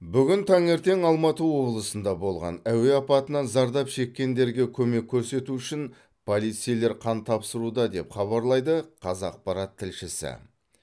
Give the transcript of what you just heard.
бүгін таңертең алматы облысында болған әуе апатынан зардап шеккендерге көмек көрсету үшін полицейлер қан тапсыруда деп хабарлайды қазақпарат тілшісі